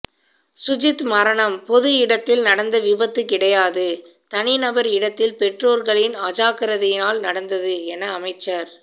சுஜித் மரணம் பொது இடத்தில் நடந்த விபத்து கிடையாது தனி நபா் இடத்தில் பெற்றோர்களின் அஜாக்கிரதையால் நடந்தது என அமைச்சா்